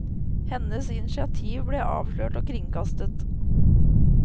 Hennes initiativ ble avslørt og kringkastet.